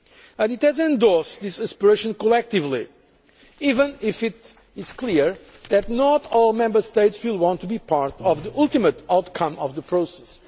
year. And it has endorsed this aspiration collectively, even if it is clear that not all Member States will want to be part of the ultimate outcome of the process.